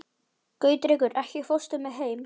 Gautrekur, ekki fórstu með þeim?